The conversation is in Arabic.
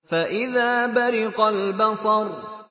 فَإِذَا بَرِقَ الْبَصَرُ